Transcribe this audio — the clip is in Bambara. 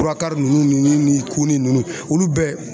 ninnu ni ninnu olu bɛɛ